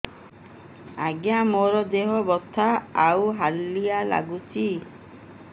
ଆଜ୍ଞା ମୋର ଦେହ ବଥା ଆଉ ହାଲିଆ ଲାଗୁଚି